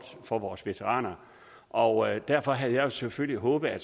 for vores veteraner og derfor havde jeg selvfølgelig håbet at